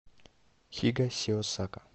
хигасиосака